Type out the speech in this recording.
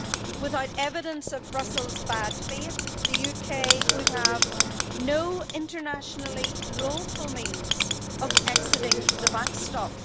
Without evidence of Brussels bad faith, the UK would have no internationally lawful means of exiting the backstop.